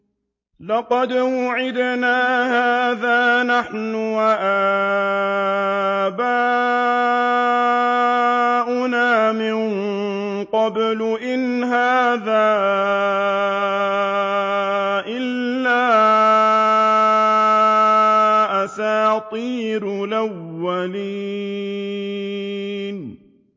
لَقَدْ وُعِدْنَا هَٰذَا نَحْنُ وَآبَاؤُنَا مِن قَبْلُ إِنْ هَٰذَا إِلَّا أَسَاطِيرُ الْأَوَّلِينَ